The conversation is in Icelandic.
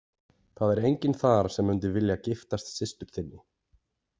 Það er enginn þar sem mundi vilja giftast systur þinni.